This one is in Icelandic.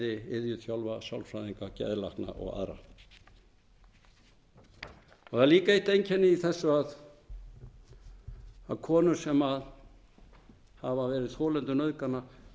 iðjuþjálfar sálfræðingar geðlækna og aðrir það er líka eitt einkenni í þessu að konur sem hafa verið þolendur nauðgana